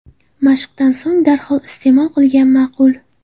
Mashqdan so‘ng darhol iste’mol qilgan ma’qul.